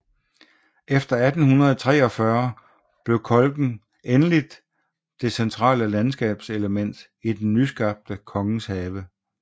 Efter 1843 blev kolken endelig det centrale landskabselement i den nyskabte Kongenshave